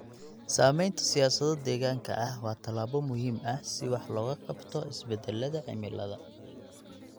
Sameynta siyaasado deegaanka ah waa tallaabo muhiim ah si wax looga qabto isbedelada cimilada.